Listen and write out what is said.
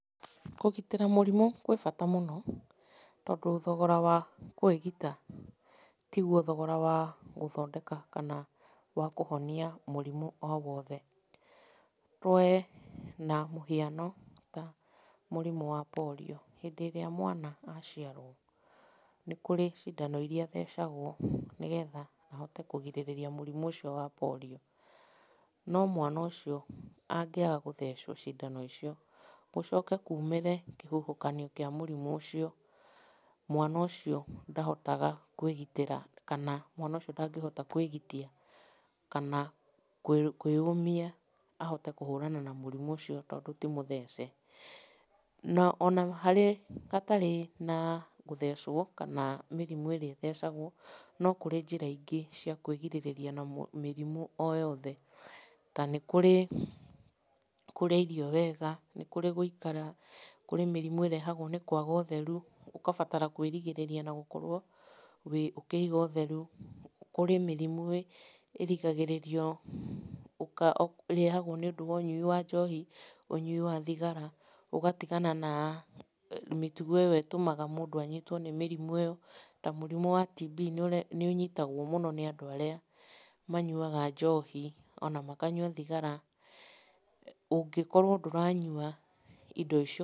Kũgitĩra mũrimũ gwĩbata mũno, tondũ thogora wa kũĩgita tiguo thogora wa gũthondeka kana wa kũhonia mũrimũ o wothe. We na mũhiano, tamũrimũ wa Polio. Hĩndĩ ĩrĩa mwana aciarwo, nĩ kũrĩ cindano iria athecagwo nĩgetha ahote kũgirĩrĩria mũrimũ ũcio wa Polio. No mwana ũcio angĩaga gũthecwo cindano icio, gũcoke kumĩre kĩhuhũkanio kĩa mũrimũ ũcio, mwana ũcio ndahotaga kwĩgitĩra kana mwana ũcio ndahotaga kwĩgitia kana kwĩyũmĩa ahote kũhũrana na mũrimũ ũcio tondũ timũthece. Na ona hatarĩ na gũthecwo, kana mĩrimũ ĩrĩa ĩthecagwo, nokũrĩ njĩra ingĩ cia kũĩgĩrĩrĩria na mĩrimũ o yothe, ta nĩkũrĩ kũrĩa irio wega, nĩkũrĩ na gũĩkara, kũrĩ mĩrimũ ĩrĩa yũkaga nĩ kwaga ũtheru, ũgabatara kũĩrigĩrĩria na gũkorwo ũkĩiga ũtheru. Kũrĩ mĩrimũ ĩrihagĩrĩrio, ĩrehagwo nĩũndũ wa ũnyui wa njohi, ũnyui wa thigara na ũgatigana na mĩtugo ĩyo ĩtũmaga mũndũ anyitwo nĩ mĩrimũ ĩyo, ta mũrimũ wa TB nĩ ũnyitagwo mũno nĩ andũ arĩa manyuaga njohi, ona makanyua thigara. Ũngĩkorwo ndũranyua indo icio